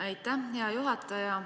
Aitäh, hea juhataja!